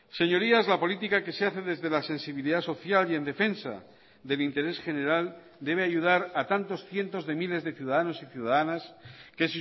señorías la política que se hace desde la sensibilidad social y en defensa del interés general debe ayudar a tantos cientos de miles de ciudadanos y ciudadanas que